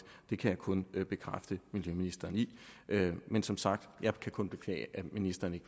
det kan jeg kun bekræfte miljøministeren i men som sagt kan jeg kun beklage at ministeren